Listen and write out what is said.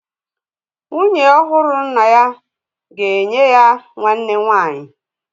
Nwunye ọhụrụ nna ya ga-enye ya nwanne nwanyị